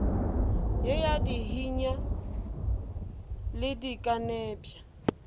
ye ya dihinya le dikenepša